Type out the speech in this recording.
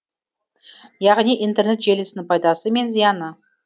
яғни интернет желісінің пайдасы мен зияны